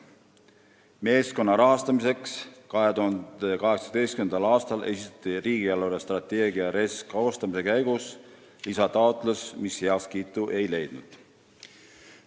Meeskonna rahastamiseks 2018. aastal esitati riigi eelarvestrateegia koostamise käigus lisataotlus, mis aga heakskiitu ei leidnud.